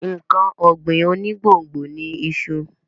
Nǹkan ọ̀gbìn onígbòǹgbò ni iṣu.